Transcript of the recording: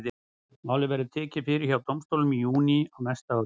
Málið verður tekið fyrir hjá dómstólum í júní á næsta ári.